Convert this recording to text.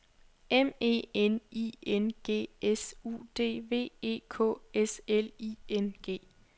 M E N I N G S U D V E K S L I N G